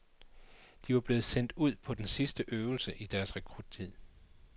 De var blevet sendt ud på den sidste øvelse i deres rekruttid.